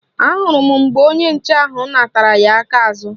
Ahụrụ m mgbe onye nche ahụ natara ya aka azụ